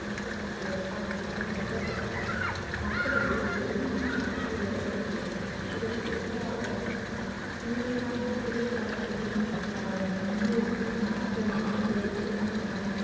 சுமத்தப்பட்ட ஏற்பாடாக இது கருதப்பட்டதால் மக்களிடையே பெரும் மனக்கஷ்டத்தை ஏற்படுத்தியது இதற்கு எதிராக ஈ வே ரா மிகப் பெரிய பரப்புரையை மேற்கொண்டார் அவர் இந்திய எதிர்ப்பும் மாநாடு ஒன்றை சேலத்தில் நடத்தினார்